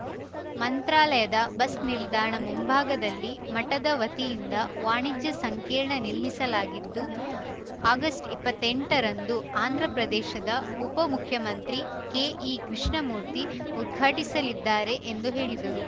ಮಂತ್ರಾಲಯದ ಬಸ್‌ನಿಲ್ದಾಣ ಮುಂಭಾಗದಲ್ಲಿ ಮಠದ ವತಿಯಿಂದ ವಾಣಿಜ್ಯ ಸಂಕೀರ್ಣ ನಿರ್ಮಿಸಲಾಗಿದ್ದು ಆಗಸ್ಟ್ ಇಪ್ಪತ್ತೆಂಟರಂದು ಆಂಧ್ರಪ್ರದೇಶದ ಉಪ ಮುಖ್ಯಮಂತ್ರಿ ಕೆಇ ಕೃಷ್ಣಮೂರ್ತಿ ಉದ್ಘಾಟಿಸಲಿದ್ದಾರೆ ಎಂದು ಹೇಳಿದರು